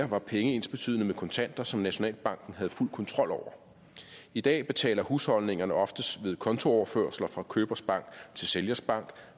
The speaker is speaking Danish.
var penge ensbetydende med kontanter som nationalbanken havde fuld kontrol over i dag betaler husholdningerne oftest ved kontooverførsler fra købers bank til sælgers bank